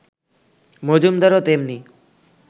মজুমদারও তেমনি